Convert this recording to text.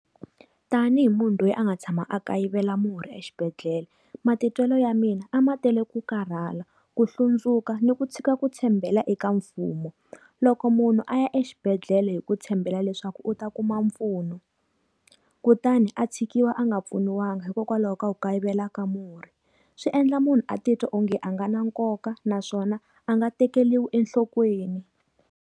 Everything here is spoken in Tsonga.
Tanihi munhu loyi a nga tshama a kayivela murhi exibedhlele, matitwelo ya mina a ma tele ku karhala, ku hlundzuka, ni ku tshika ku tshembela eka mfumo. Loko munhu a ya exibedhlele hi ku tshembela leswaku u ta kuma mpfuno, kutani a tshikiwa a nga pfuniwanga hikokwalaho ka wu kayivela ka murhi. Swi endla munhu a titwa onge a nga na nkoka naswona a nga tekeriwi enhlokweni.